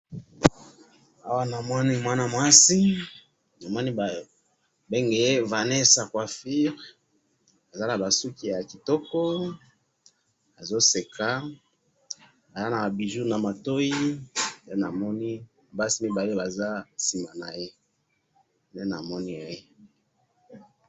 awa namoni mwana mwasi namoni ba bengiye vannesa coiffure aza naba suki yakitoko azo seka aza naba bijoux na matoyi nde namoni basi mibale baza sima naye nde namoni